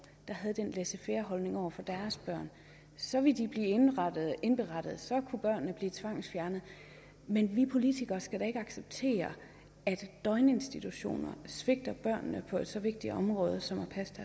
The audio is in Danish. der havde den laissez faire holdning over for deres børn så ville de blive indberettet og så kunne børnene blive tvangsfjernet men vi politikere skal da ikke acceptere at døgninstitutioner svigter børnene på et så vigtigt område som at passe